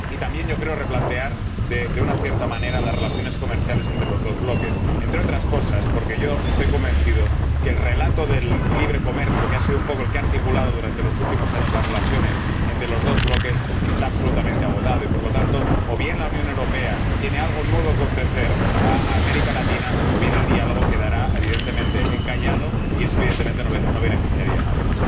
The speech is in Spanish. También yo creo replantear de una cierta manera las relaciones comerciales entre los dos bloques, entre otras cosas porque estoy convencido de que el relato del libre comercio —que ha sido un poco el que ha articulado durante los últimos años las relaciones entre los dos bloques— está absolutamente agotado y, por lo tanto, o bien la Unión Europea tiene algo nuevo que ofrecer a América Latina, o bien el diálogo quedará evidentemente encallado y eso, evidentemente, no beneficiaría a nadie.